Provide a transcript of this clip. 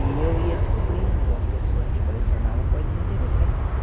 E eu ia descobrindo, as pessoas que colecionavam, coisas interessantes.